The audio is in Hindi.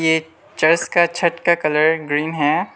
एक चर्च का छत का कलर ग्रीन है।